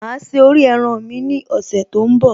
Máa se orí ẹran mi ní ọ̀sẹ̀ tó ń bọ̀